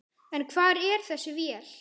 En hvar er þessi vél?